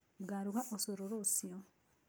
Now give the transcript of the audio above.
Ngaruga ũcũrũ rũciu